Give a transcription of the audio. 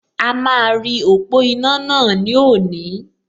A máa rí ọ̀pọ̀ iná náà ní òní